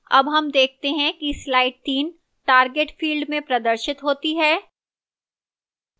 अब हम देखते हैं कि slide 3 target field में प्रदर्शित होती है